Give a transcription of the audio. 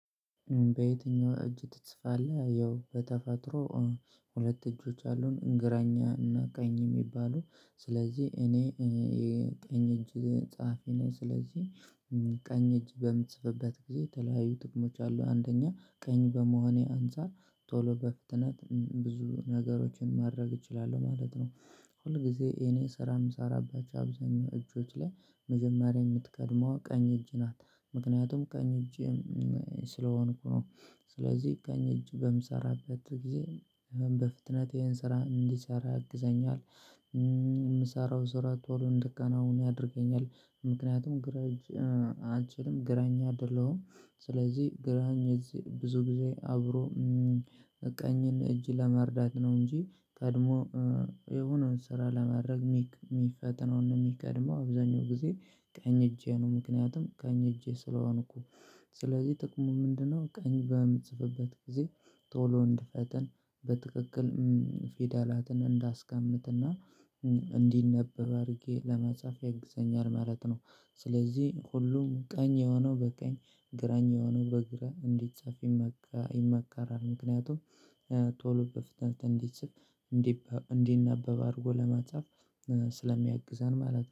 በየትኛው እጅ ትጽፋለህ? ያው በተፈጥሮ ሁለት እጆች አሉን ግራኛ እና ቀኝ የሚባሉ ስለዚህ እኔ ቀኝ እጅ ጸሐፊ ነኝ ስለዚህ ቀኝ እጅ በምጽፍበት ጊዜ የተለያዩ ጥግሞች አሉ አንደኛ ቀኝ በመሆኔ አንፃር ቶሎ በፍጥነት ብዙ ነገሮችን ማድረግ እችላለሁ ማለት ነው። ሁልጊዜ እኔ ስራ የምሰራባቸው አብዛኛው እጆች ላይ መጀመሪያ የምትቀድመው ቀኝ እጅ ናት ምክንያቱም ቀኝ እጅ ስለሆንኩ ነው ስለዚህ ቀኝ እጅ በምሰራበት ጊዜ በፍጥነቴን ስራ እንዲሰራ ያግዘኛል። የምሰራው ስራ ቶሎ እንድቀና አሁን ያደርገኛል ምክንያቱም ግራ እጅ አንልችልም ግራኝ አይደለሁም። ስለዚህ ግራኝ ብዙ ጊዜ አብሮ ቀኝ እጅ ጋር ለመርዳት ነው እንጂ ቀድሞ የሆነውን ስራ ለማድረግ የሚፈጥነው እና የሚቀድመው አብዛኛው ጊዜ ቀኝ እጄ ነው ምክንያቱም ቀኝ እጄ ስለሆንኩ። ስለዚህ ጥቅሙ ምንድነው? ቀኝ በምትጽፍበት ጊዜ ቶሎ እንድፈጥን በትክክል ፊደላትን እንዳስቀምጥ እና እንዲነበብ አድርጌ ለመጻፍ ያግዘኛል ማለት ነው። ስለዚህ ሁሉም ቀኝ የሆነው በቀኝ ግራኝ የሆነው በግራ እንዴት ሰፊ ይመከራል ምክንያቱም ቶሎ እንዲጽፍ እንዲነበብ አድርጎ ለማጻፍ ስለሚያግዛን ማለት ነው